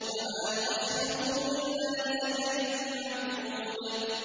وَمَا نُؤَخِّرُهُ إِلَّا لِأَجَلٍ مَّعْدُودٍ